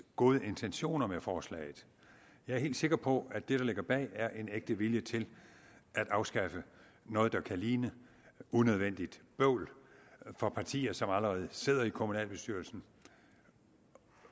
gode intentioner med forslaget jeg er helt sikker på at det der ligger bag er en ægte vilje til at afskaffe noget der kan ligne unødvendigt bøvl for partier som allerede sidder i kommunalbestyrelsen